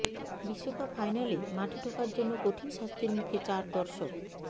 বিশ্বকাপ ফাইনালে মাঠে ঢোকার জন্য কঠিন শাস্তির মুখে চার দর্শক